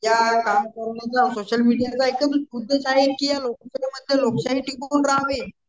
त्या social media लोकशाही टिकवून राहील.